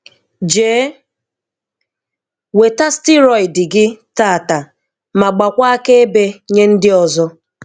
Jee weta stiroidị gị tataa ma gbakwaa akaebe nye ndị ọzọ.